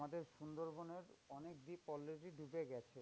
আমাদের সুন্দরবনের অনেক দ্বীপ already ডুবে গেছে।